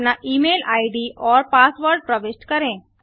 अपना email ID और password प्रविष्ट करें